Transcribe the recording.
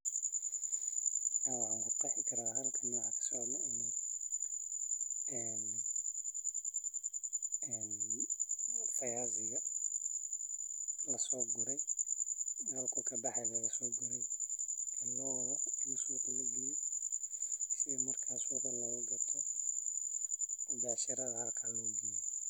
Ee fayaziga laso gure ee lo wadho gadis ama bec isaga oo laga sogure beerta tas oo la rawa in lagato marka sas waye lacag ayu leyahay.